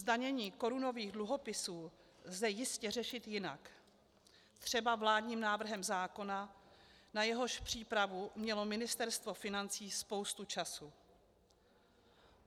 Zdanění korunových dluhopisů lze jistě řešit jinak, třeba vládním návrhem zákona, na jehož přípravu mělo Ministerstvo financí spoustu času.